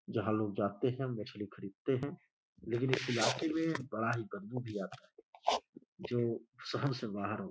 जहाँ लोग जाते हैं। मछली खरीदते हैं। लेकिन इस इलाके में बड़ा ही बदबू भी आता है जो सहन से बाहर हो --